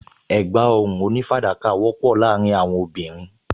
Ẹ̀gbá ọrùn onífàdákà wọ́pọ̀ láàárín àwọn obìnrin